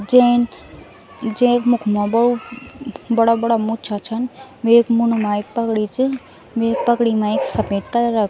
जेन जैक मुख मा बडू बड़ा बड़ा मुच्छा छन वेक मुंड मा एक पगड़ी च वेक पगड़ी मा एक सपेद कलरा क --